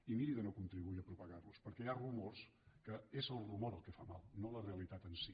i miri de no contribuir a propagar los perquè hi ha rumors en què és el rumor el que fa mal no la realitat en si